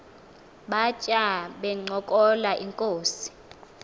batya bencokola inkos